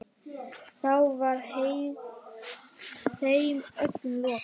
Þá var þeim öllum lokið.